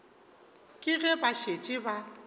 ke ge ba šetše ba